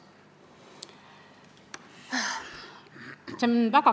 Palun täpsustage!